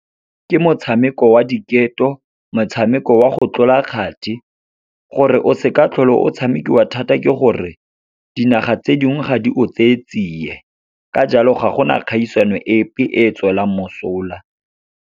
Ke motshameko wa diketo, motshameko wa go tlola kgati. Gore o seka tlhola o tshamekiwa thata ke gore, dinaga tse dingwe ga di o tseye tsiye, ka jalo ga gona kgaisano epe e e tswelang mosola.